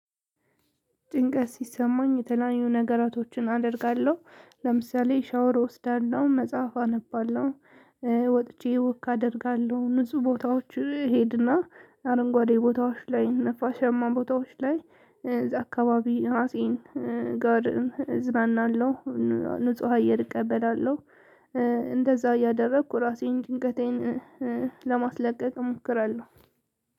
ጭንቀት ሲሰማኝ የተለያዩ ነገሮችን አደርጋለሁ። ለምሳሌ ሻወር እወስዳለሁ፣ መጽሐፍ አነባለሁ፣ ወጥቼ ወክ አደርጋለሁ ንጹህ ቦታዎች እሄድ እና አረንጓዴ ቦታዎች ላይ ነፋሻማ ቦታዎች ላይ አካባቢ ራሴ ጋር እዝናናለሁ ንጹህ አየር እቀበላለሁ፣ እንደዛ እያደረኩ ራሴን ጭንቀቴን ለማስለቀቅ እሞክራለሁ።